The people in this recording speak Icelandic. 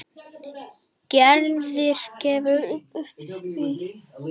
Gerður gefst því upp.